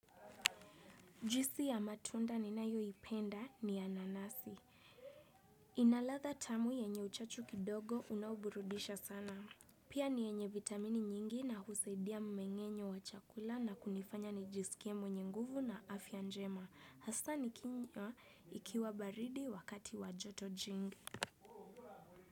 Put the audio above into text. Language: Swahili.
Juisi ya matunda ninayoipenda ni ya nanasi. Inalatha tamu yenye uchachu kidogo unaoburudisha sana. Pia ni yenye vitamini nyingi na husaidia mmengenyo wa chakula na kunifanya nijisikie mwenye nguvu na afya njema. Hasa ni kinywa ikiwa baridi wakati wa joto jingi.